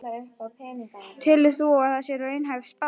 Telur þú að það sé raunhæf spá?